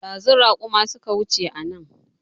Ɗazu raƙuma suka wuce anan